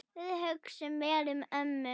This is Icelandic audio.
Við hugsum vel um ömmu.